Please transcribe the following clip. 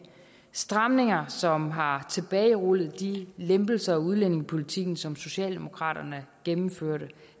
stramninger som har tilbagerullet de lempelser af udlændingepolitikken som socialdemokratiet gennemførte